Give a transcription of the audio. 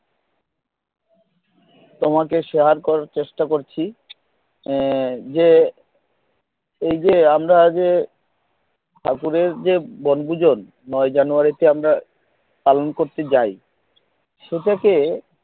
তোমাকে share করতে চেষ্টা করছি এর যে এই যে আমরা যে ঠাকুরের জে বনভোজন নয় January তে আমরা পালন করতে যায় সেটাকে